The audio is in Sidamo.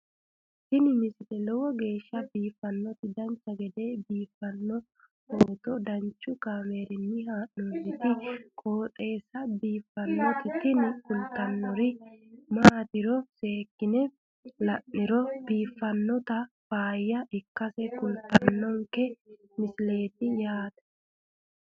tini lowo geeshsha biiffannoti dancha gede biiffanno footo danchu kaameerinni haa'noonniti qooxeessa biiffannoti tini kultannori maatiro seekkine la'niro biiffannota faayya ikkase kultannoke misileeti yaate